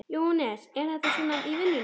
Jóhannes: Er þetta svona í vinnunni?